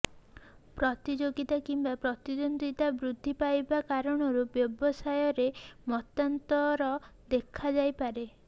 ପ୍ରତିଯୋଗିତା କିମ୍ବା ପ୍ରତିଦ୍ୱନ୍ଦ୍ୱିତା ବୃଦ୍ଧି ପାଇବା କାରଣରୁ ବ୍ୟବସାୟରେ ମନାନ୍ତର ଦେଖାଦେଇପାରେ